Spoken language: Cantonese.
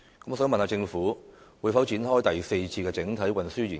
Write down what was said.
我想問，政府會否展開第四次整體運輸研究？